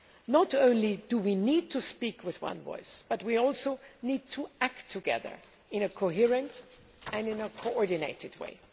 Not only do we need to speak with one voice, but we also need to act together in a coherent and coordinated way.